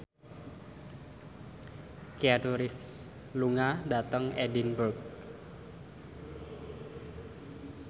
Keanu Reeves lunga dhateng Edinburgh